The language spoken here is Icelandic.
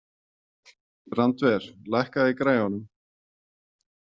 Randver, lækkaðu í græjunum.